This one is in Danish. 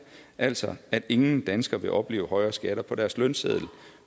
altså at ingen danskere vil opleve højere skatter på deres lønseddel